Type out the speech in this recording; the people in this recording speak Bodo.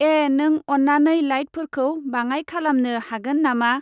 ऐ नों अन्नानै लाइटफोरखौ बाङाय खालामनो हागोन ना मा?